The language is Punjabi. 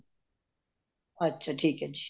ਅੱਛਾ ਠੀਕ ਹੈ ਜੀ